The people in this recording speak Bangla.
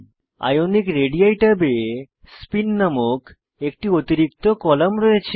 আইওনিক রেডি ট্যাবে স্পিন নামক একটি অতিরিক্ত কলাম রয়েছে